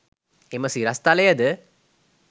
එම සිරස්තලයද